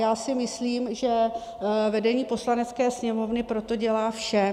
Já si myslím, že vedení Poslanecké sněmovny pro to dělá vše.